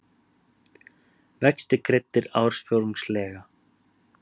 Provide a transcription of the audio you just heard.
Vextir greiddir ársfjórðungslega